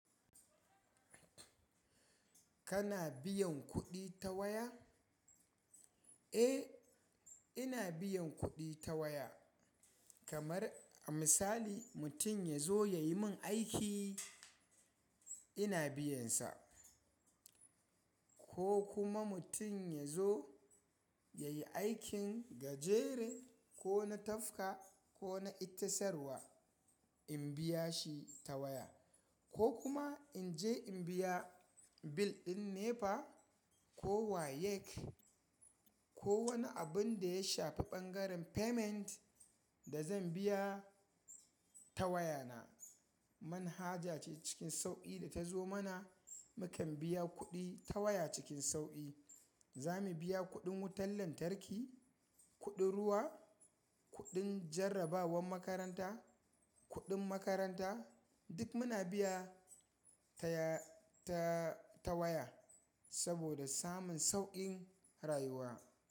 Kana biyan kuɗi ta waya? Eh, ina biyan kuɗi ta waya. Kamar a misali mutum ya zo ya yi min aiki, ina biyansa. Ko kuma mutum ya zo ya yi aikin gajere ko na tafka ko na ita sarwa, in biya shi ta waya. Ko kuma in je in biya bil ɗin NEPA ko WAEC ko wani abun da ya shafi ɓangaren payment da zan biya ta waya na. Manhaja ce cikin sauƙi da ta zo mana. Mu kan biya kuɗi ta waya cikin sauƙi. Za mu biya kuɗin wutar lantarki, kuɗin ruwa, kuɗin jarrabawar makaranta, kuɗin makaranta. Duk muna biya ta ya-ta-ta waya saboda samun sauƙin rayuwa.